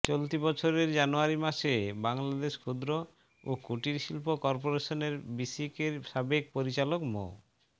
চলতি বছরের জানুয়ারি মাসে বাংলাদেশ ক্ষুদ্র ও কুটির শিল্প করপোরেশনের বিসিকের সাবেক পরিচালক মো